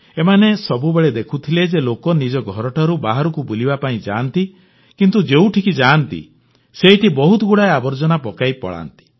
ଏମାନେ ସବୁବେଳେ ଦେଖୁଥିଲେ ଯେ ଲୋକେ ନିଜ ଘରଠାରୁ ବାହାରକୁ ବୁଲିବା ପାଇଁ ଯାଆନ୍ତି କିନ୍ତୁ ଯେଉଁଠିକି ଯାଆନ୍ତି ସେଇଠି ବହୁତଗୁଡ଼ାଏ ଆବର୍ଜନା ପକାଇ ପଳାନ୍ତି